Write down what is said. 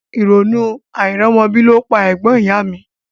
Ìrònú àìrọ́mọbí ló pa ẹ̀gbọ́n ìyá a mi